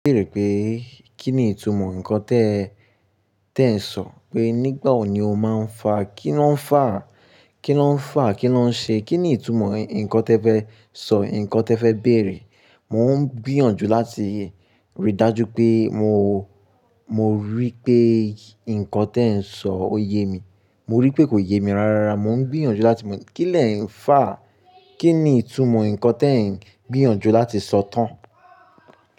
Ó béèrè pé kín ni ìtumọ̀ nǹkan tẹ tẹ ń sọ? Pé nígbà wo ni o máa ń fà? Kí lọ́ ń fà? Kí lọ́ ń fà? Kí lọ́ ń ṣe? Kí ni ìtumọ̀ nǹkan tẹ fẹ́ sọ? Nǹkan tẹ fẹ́ béèrè? Mò ń gbìyànjú láti ríi dájú pé mo, mo rí pé nǹkan tẹ ń sọ ò ye mi. Mo rí pé kò ye mi rárá. Mò ń gbìyànjú láti mọ̀. Kí lẹ ń fà? Kí ni ìtumọ̀ nǹkan tẹ ń gbìyànjú láti sọ tán?